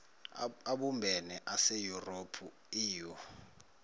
abumbene aseyurophu eu